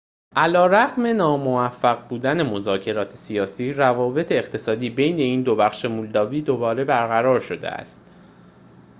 علیرغم ناموفق بودن مذاکرات سیاسی روابط اقتصادی بین این دو بخش مولداوی دوباره برقرار شده است